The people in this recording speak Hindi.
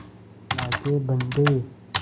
अल्लाह के बन्दे